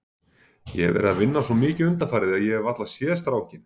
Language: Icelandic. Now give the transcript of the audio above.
Ég hef verið að vinna svo mikið undanfarið að ég hef varla séð strákinn.